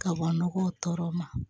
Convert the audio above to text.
Kaban nɔgɔ tɔɔrɔ ma